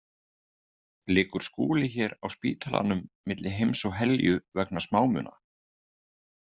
Liggur Skúli hér á spítalanum milli heims og helju vegna smámuna?